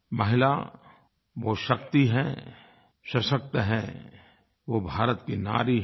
महिला वो शक्ति है सशक्त है वो भारत की नारी है